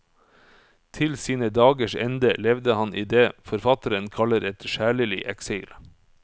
Til sine dagers ende levde han i det forfatteren kaller et sjelelig eksil.